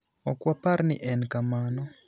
Ok wapar ni en kamano.